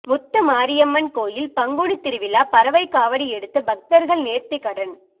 முத்துமாரியம்மன் கோயில் பங்குனி திருவிழா பறவை காவடி எடுத்து பக்தர்கள் நேர்த்திகடன்